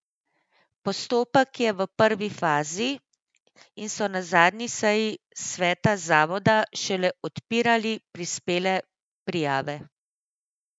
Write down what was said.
Postopek je v prvi fazi in so na zadnji seji sveta zavoda šele odpirali prispele prijave.